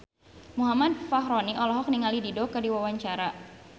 Muhammad Fachroni olohok ningali Dido keur diwawancara